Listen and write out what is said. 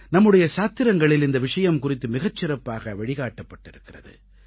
நம்முடைய சாத்திரங்களில் இந்த விஷயம் குறித்து மிகச் சிறப்பாக வழிகாட்டப்பட்டிருக்கிறது